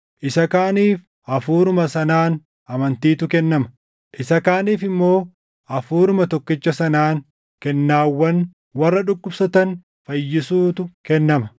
isa kaaniif Hafuuruma sanaan amantiitu kennama; isa kaaniif immoo Hafuuruma tokkicha sanaan kennaawwan warra dhukkubsatan fayyisuutu kennama;